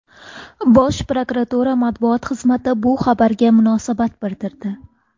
Bosh prokuratura matbuot xizmati bu xabarlarga munosabat bildirdi.